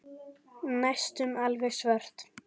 Næstum alveg svört.